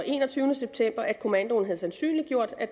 enogtyvende september at kommandoen havde sandsynliggjort at